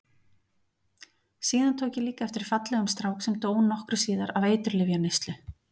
Síðan tók ég líka eftir fallegum strák sem dó nokkru síðar af eiturlyfjaneyslu.